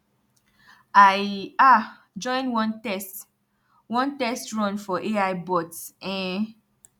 i um join one test one test run for ai bots um